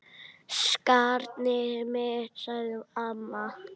Skarnið mitt, sagði amma.